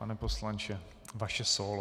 Pane poslanče, vaše sólo.